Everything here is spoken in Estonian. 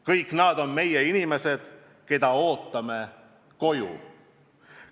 Kõik nad on meie inimesed, keda ootame koju.